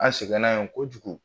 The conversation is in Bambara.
An sɛgɛnna yen kojugu.